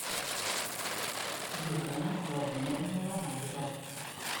елена владимировна ломаева